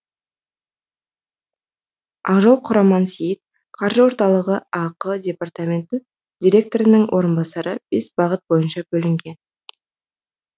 ақжол құрмансейіт қаржы орталығы ақ департамент директорының орынбасары бес бағыт бойынша бөлінген